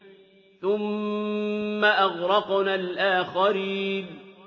ثُمَّ أَغْرَقْنَا الْآخَرِينَ